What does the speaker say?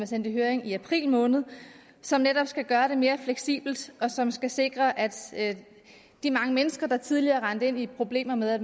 sendt i høring i april måned som netop skal gøre det mere fleksibelt og som skal sikre at at de mange mennesker der tidligere er rendt ind i problemer med at